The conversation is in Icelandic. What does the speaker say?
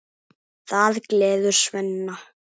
Það gleður Svenna.